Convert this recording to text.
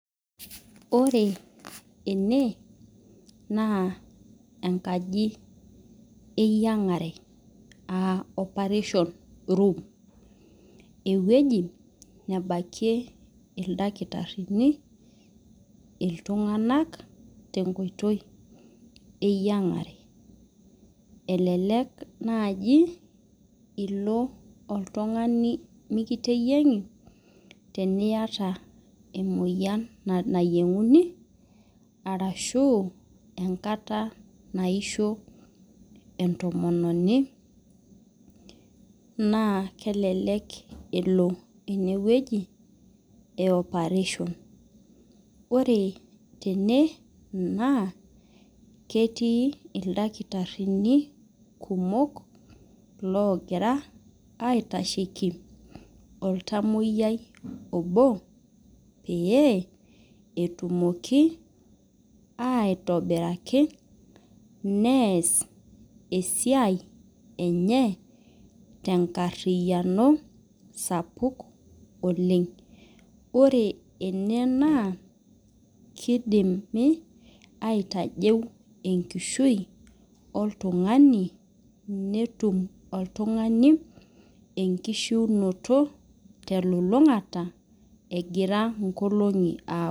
Ore ene na enkaji eyiangare aa operation room ewueji nebakie ildakitarini ltunganak tenkoitoi eyiangare elelek nai ilo oltungani nikiteyiangi teniata emoyian nayienguni arashu enkata naisho entomononi na kelek elo entomononi enewueji e operation ketii ildakitari kumok ogira aitashieki oltamoyiai obo peyie etumoki aitobiraki neeas esiai enye tenkariano sapuk oleng ore ene na kidim aitajeu enkishui oltungani netum oltungani enkushuunoto telulungata egira nkolongi apuo.